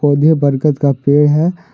और यह बरगद का पेड़ है।